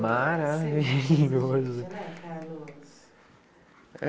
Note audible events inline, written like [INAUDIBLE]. Maravilhoso! [LAUGHS]